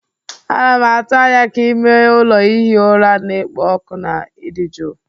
Ana m atụ anya ka ime ụlọ ihi ụra na-ekpo ọkụ na ịdị jụụ.